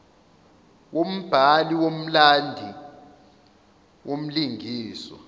wombhali womlandi womlingiswa